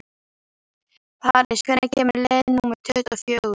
París, hvenær kemur leið númer tuttugu og fjögur?